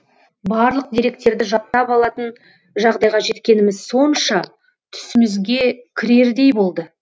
барлық деректерді жаттап алатын жағдайға жеткеніміз сонша түсімізге кірердей болды